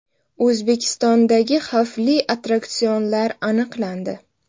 O‘zbekistondagi xavfli attraksionlar aniqlandi.